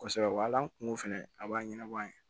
Kosɛbɛ wa hali an kun ko fɛnɛ a b'a ɲɛnabɔ an ye